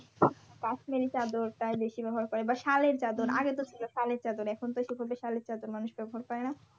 কাশ্মীরি চাদর তারা বেশি বেবহার করে বা সালের চাদর আগে তো ছিল সালের চাদর এখন তো সেভাবে সাল এর চাদর মানুষ ব্যবহার করে না।